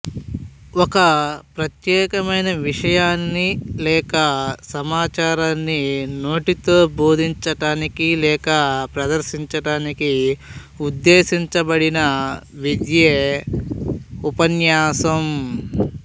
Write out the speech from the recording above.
ఒక ప్రత్యేకమైన విషయాన్ని లేక సమాచారాన్ని నోటితో బోధించడానికి లేక ప్రదర్శించడానికి ఉద్దేశించబడిన విద్యే ఉపన్యాసం